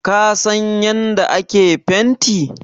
Ka san yanda ake fenti?